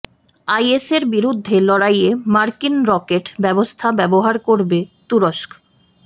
আইএসের বিরুদ্ধে লড়াইয়ে মার্কিন রকেট ব্যবস্থা ব্যবহার করবে তুরস্ক